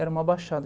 Era uma baixada.